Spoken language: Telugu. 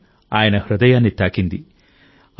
రామాయణం ఆయన హృదయాన్ని తాకింది